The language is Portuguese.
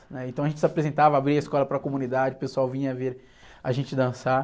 Aí, então a gente se apresentava, abria a escola para a comunidade, o pessoal vinha ver a gente dançar.